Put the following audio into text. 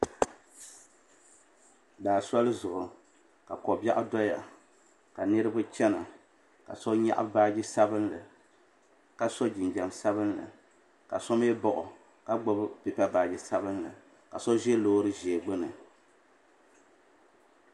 Daa soli zuɣu ka kobiaɣu doya ka Niriba chana ka so nyaɣi baaji sabinli ka so jinjiɛm sabinli ka so mee paɣi o ka gbibi pipa piɛlli ka so ʒɛ loori ʒee gbini.